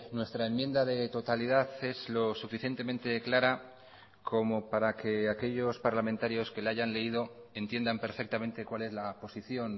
nuestra enmienda de totalidad es lo suficientemente clara como para que aquellos parlamentarios que la hayan leído entiendan perfectamente cuál es la posición